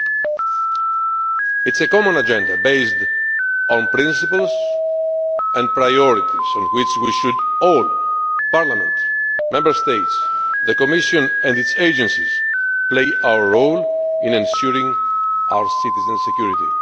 It is a common Agenda based on principles and priorities, on which we should all Parliament, Member States, the Commission and its Agencies play our role in ensuring our citizens' security.